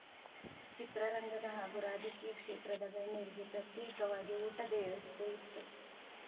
ಚಿತ್ರರಂಗದ ಹಾಗೂ ರಾಜಕೀಯ ಕ್ಷೇತ್ರದ ಗಣ್ಯರಿಗೆ ಪ್ರತ್ಯೇಕವಾಗಿ ಊಟದ ವ್ಯವಸ್ಥೆ ಇತ್ತು